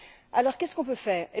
Alors, qu'est ce qu'on peut faire?